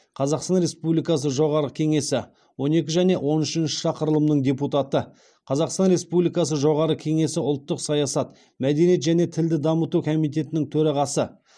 қазақстан республикасы жоғарғы кеңесі он екі және он үшінші шақырылымының депутаты қазақстан республикасы жоғарғы кеңесі ұлттық саясат мәдениет және тілді дамыту комитетінің төрағасы